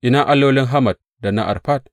Ina allolin Hamat da na Arfad?